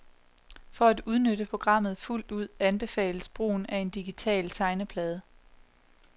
For at udnytte programmet fuldt ud anbefales brugen af en digital tegneplade.